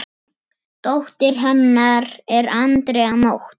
Dóttir hennar er Andrea Nótt.